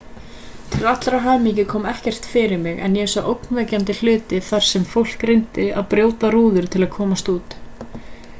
til allrar hamingju kom ekkert fyrir mig en ég sá ógnvekjandi hluti þar sem fólk reyndi að brjóta rúður til að komast út